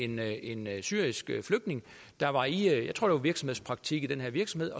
med en syrisk flygtning der var i jeg tror det var virksomhedspraktik i den her virksomhed